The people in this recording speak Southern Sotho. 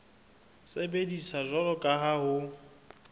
sebediswa jwalo ka ha ho